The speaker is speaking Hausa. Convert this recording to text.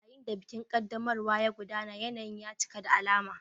Yayin da bikin ƙaddamarwa ya gudana, yanayin ya cika da alama.